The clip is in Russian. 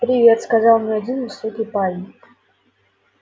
привет сказал мне один высокий парень